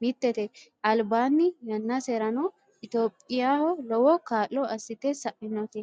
mittete, albaanni yannaserano itiyoophiyaho lowo kaa'lo assite sa'inote.